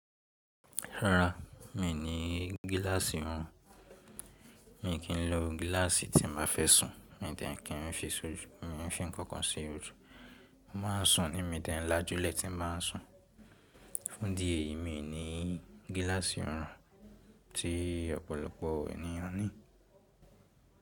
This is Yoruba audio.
Rárá, mi ò ní gíláàsì ọrùn. Mi kì í lò gíláàsì tí màá fẹ́ sùn, mi tẹ̀ẹ́ kí n fi fọ́nkọ̀n sí ojú. Mo máa ń sùn ní mi tẹ́ẹ́ ńlá júlọ tí mo bá ń sùn. Fún di èyí, mi ò ní gíláàsì ọrùn tí ọ̀pọ̀lọpọ̀ ènìyàn ní.